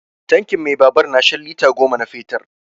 Tankin mai na babur na shan lita goma na fetur.